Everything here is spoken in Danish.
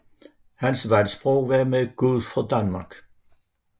Hans valgsprog var Med Gud for Danmark